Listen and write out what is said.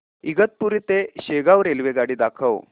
इगतपुरी ते शेगाव रेल्वेगाडी दाखव